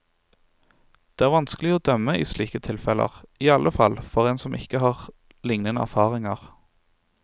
Det er vanskelig å dømme i slike tilfeller, i alle fall for en som ikke har lignende erfaringer.